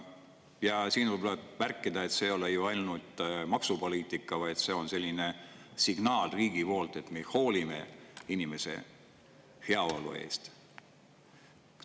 Ja siin võib märkida, et see ei ole ju ainult maksupoliitika, vaid see on selline signaal riigi poolt, et me hoolime inimese heaolu eest.